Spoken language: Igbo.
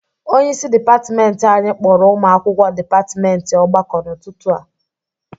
Onyeisi dịpatịmentị anyị kpọrọ ụmụ akwụkwọ dịpatịmentị ọgbakọ n'ụtụtụ a.